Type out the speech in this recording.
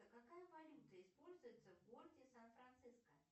какая валюта используется в городе сан франциско